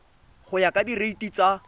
go ya ka direiti tsa